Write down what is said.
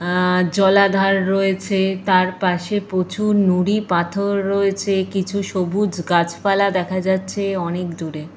আঃ জলাধার রয়েছে। তার পাশে প্রচুর নুড়ি পাথর রয়েছে। কিছু সবুজ গাছপালা দেখা যাচ্ছে অনেক দূরে।